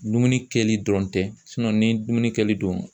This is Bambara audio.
Dumuni kɛli dɔrɔn tɛ ni dumuni kɛli don